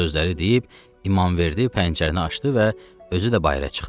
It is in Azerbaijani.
Bu sözləri deyib İmamverdi pəncərəni açdı və özü də bayıra çıxdı.